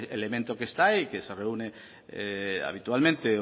el elemento que está y que se reúne habitualmente